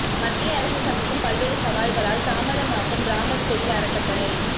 மத்திய அரசு சந்திக்கும் பல்வேறு சவால்களால் தாமதமாகும் ராமர் கோயில் அறக்கட்டளை